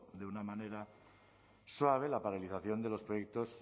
de una manera suave la paralización de los proyectos